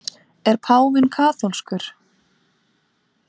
Er páfinn kaþólskur?